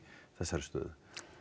þessari stöðu